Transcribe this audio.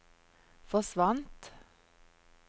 forsvant